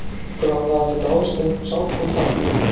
Heldurðu að það náist einhver sátt um það?